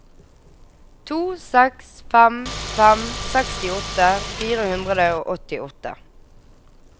to seks fem fem sekstiåtte fire hundre og åttiåtte